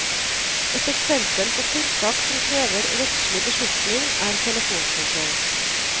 Et eksempel på tiltak som krever rettslig beslutning er telefonkontroll.